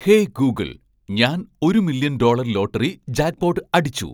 hey Google ഞാൻ ഒരു million dollar lottery jackpot അടിച്ചു